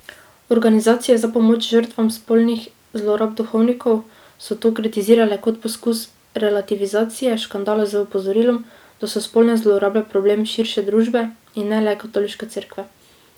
Organizacije za pomoč žrtvam spolnih zlorab duhovnikov so to kritizirale kot poskus relativizacije škandala z opozorilom, da so spolne zlorabe problem širše družbe in ne le katoliške cerkve.